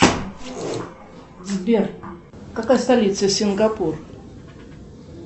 сбер какая столица сингапур